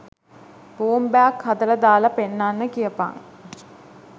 බෝම්බයක් හදලා දාලා පෙන්නන්න කියපන්